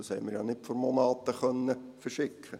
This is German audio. Diese konnten wir ja nicht vor Monaten verschicken.